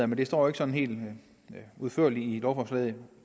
men det står ikke sådan helt udførligt i lovforslaget